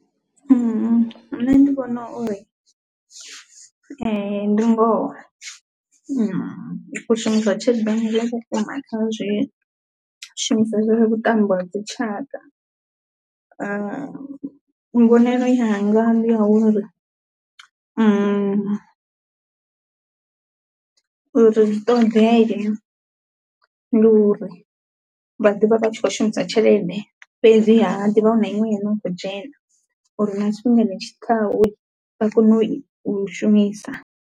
Nṋe ndi vhona uri ee ndi ngoho hu khou shumisiwa tshelede vhukuma kha zwishumiswa zwa vhuṱambo ha dzi tshaka, mbonelo yanga ndi ya uri ri ṱoḓee ndi uri vha ḓivha vha tshi khou shumisa tshelede fhedzi ha ḓivha hu na iṅwe ino khou dzhena uri na tshifhingani tshi ḓaho vha kone u i shumisa.